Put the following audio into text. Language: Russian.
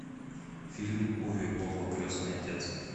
фильм уве болла крестный отец